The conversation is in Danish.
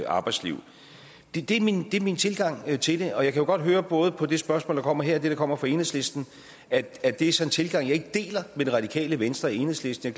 arbejdsliv det er min min tilgang til det og jeg kan jo godt høre både på det spørgsmål der kommer her og det der kommer fra enhedslisten at det så er en tilgang jeg ikke deler med radikale venstre og enhedslisten